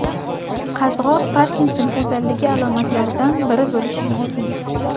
Qazg‘oq Parkinson kasalligi alomatlaridan biri bo‘lishi mumkin.